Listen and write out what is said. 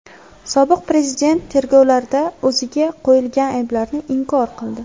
Sobiq prezident tergovlarda o‘ziga qo‘yilgan ayblarni inkor qildi.